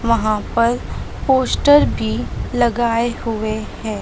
वहां पर पोस्टर भी लगाए हुए हैं।